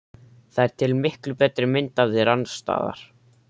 Það er til miklu betri mynd af þér annars staðar.